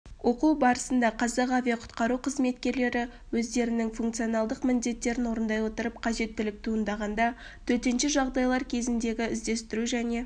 оқу барысында қазақ авиақұтқару қызметкерлері өздерінің функционалдық міндеттерін орындай отырып қажеттілік туындағанда төтенше жағдайлар кезіндегі іздестіру және